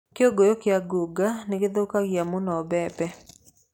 Kĩgunyũ kĩa ngũnga nĩ gũthũkagia mũno mbembe.